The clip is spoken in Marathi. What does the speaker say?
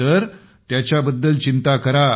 तर त्याच्याबद्दल चिंता करा